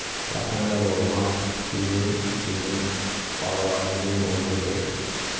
Vətəni də qorumaq bizim, sizin balalarımızın borcudur.